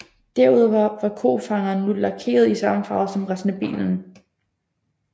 Derudover var kofangerne nu lakeret i samme farve som resten af bilen